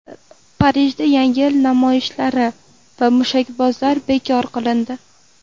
Parijda Yangi yil namoyishlari va mushakbozlik bekor qilindi.